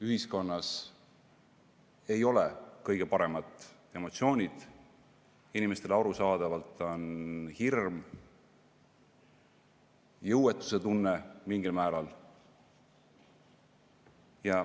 Ühiskonnas ei ole kõige paremad emotsioonid, inimestel on arusaadavalt hirm, jõuetusetunne mingil määral.